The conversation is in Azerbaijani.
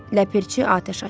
Ləpirçi atəş açdı.